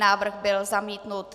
Návrh byl zamítnut.